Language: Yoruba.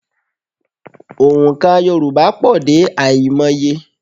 Ònkà Yorùbá pọ̀ dé àìmọye